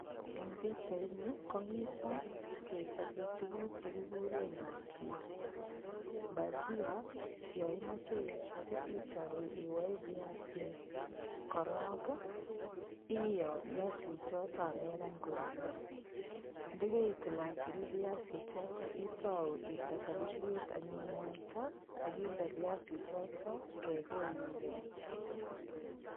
Eng' pikchaini komito kechobei tukuk chekikure bajia bajia yo imoche ichop itou iwoe viasik korok iyoo viasichoto amekany korurio dekeitilatil viasichoto itou inde sapuriet anyun mwaita akinde viasichoto kekeiyoo